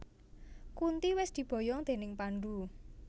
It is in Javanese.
Kunti wis diboyong déning Pandhu